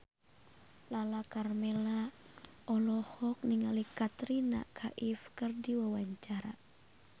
Lala Karmela olohok ningali Katrina Kaif keur diwawancara